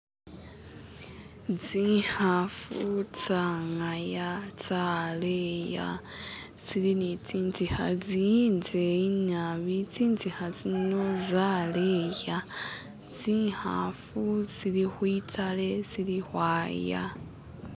Tsikhaafu tsangaya tsaleha tsiri ni tsitsinga tsindeyi naabi tsitsiga tsino tsaleya tsikhaafu tsili kwitale tsili ukwaya.